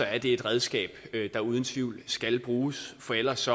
er det et redskab der uden tvivl skal bruges for ellers